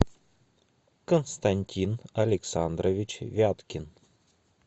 константин александрович вяткин